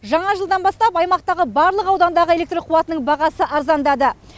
жаңа жылдан бастап аймақтағы барлық аудандағы электр қуатының бағасы арзандады